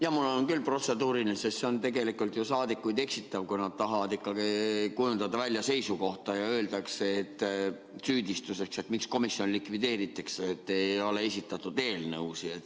Jah, mul on küll protseduuriline, sest see on tegelikult saadikuid eksitav, kui nad tahavad kujundada välja seisukohta ja öeldakse süüdistuseks, miks komisjon likvideeritakse, et ei ole esitatud eelnõusid.